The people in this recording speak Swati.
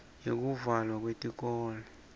yekuvalwa kweyikolo